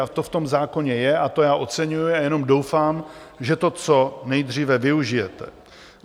A to v tom zákoně je, a to já oceňuji a jenom doufám, že to co nejdříve využijete.